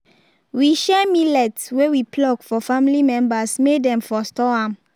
we share millet wey we pluck for family members may dem for store am